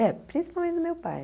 É, principalmente do meu pai.